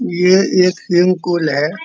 ये एक swimming pool है।